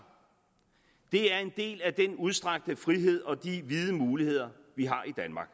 det er en del af den udstrakte frihed og de vide muligheder vi har i danmark